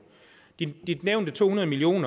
de nævnte to hundrede million